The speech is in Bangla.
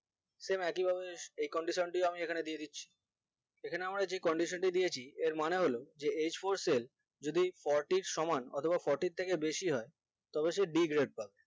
same একই ভাবে এই condition গুলো আমি একখানে দিয়ে দিচ্ছি এখানে আমরা যে condition টি দিয়েছি এর মানে হলো যে h four cell যদি fourty সমান অথবা fourty থেকে বেশি হয় তবে সে b grade পাবে